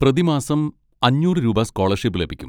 പ്രതിമാസം അഞ്ഞൂറ് രൂപ സ്കോളർഷിപ്പ് ലഭിക്കും.